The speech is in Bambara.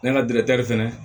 Ne ka detɛri fɛnɛ